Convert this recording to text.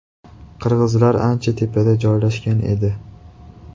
Qirg‘izlar ancha tepada joylashgan edi.